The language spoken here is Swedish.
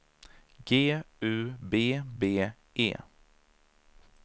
G U B B E